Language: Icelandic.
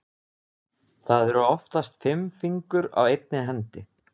Það eru oftast fimm fingur á einni hendi.